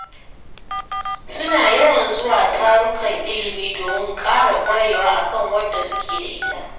Suna yawan zuwa tarukan ilimi domin ƙara ƙwarewa a kan wadda suke da ita.